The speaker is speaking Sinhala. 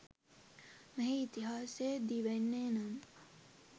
මෙහි ඉතිහාසය දිවෙන්නේ නම්